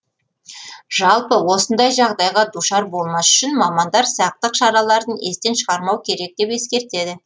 жалпы осындай жағдайға душар болмас үшін мамандар сақтық шараларын естен шығармау керек деп ескертеді